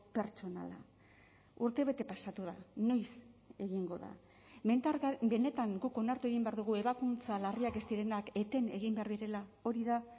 pertsonala urtebete pasatu da noiz egingo da benetan guk onartu egin behar dugu ebakuntza larriak ez direnak eten egin behar direla hori da